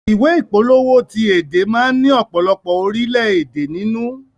Ìwé ìpolówó ti èdè má ni ọ̀pọ̀lọpọ̀ orilẹ èdè nínú.